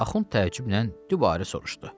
Axund təəccüblə dübarə soruşdu: